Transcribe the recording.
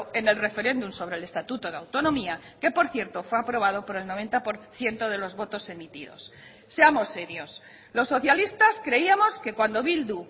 en el referéndum sobre el estatuto de autonomía que por cierto fue aprobado por el noventa por ciento de los votos emitidos seamos serios los socialistas creíamos que cuando bildu